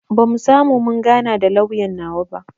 Bamu samu mun gana da lauyan nawa ba